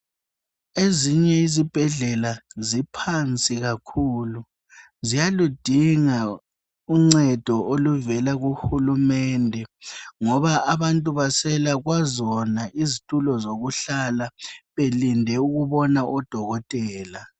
ezinye izibhedlela ziphansi kakhulu ziyaludinga uncedo oluvela kuhulumende ngoba abantu baswela kwazona izitulo zokuhla belinde ukubona odokotela